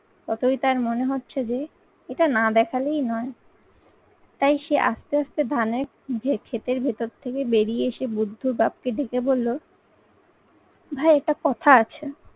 ততই তার মনে হচ্ছে যে এটা না দেখালেই নয়। তাই সে আস্তে আস্তে ধানের ক্ষেতের ভেতর থেকে বেরিয়ে এসে বুদ্ধ বাপকে ডেকে বললো ভাই এটা কথা আছে